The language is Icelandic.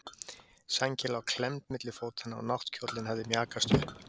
Sængin lá klemmd milli fótanna og náttkjóllinn hafði mjakast upp.